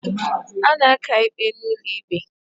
A na-aka ikpe n'ụlọ ikpe